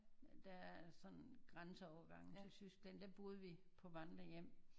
Der er sådan grænseovergange til Tyskland der boede vi på vandrehjem